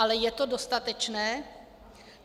Ale je to dostatečné?